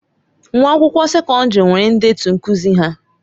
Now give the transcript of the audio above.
Nwa akwụkwọ sekọndrị nwere ndetu nkuzi ha.